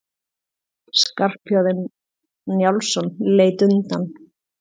Skarphéðinn Njálsson leit undan.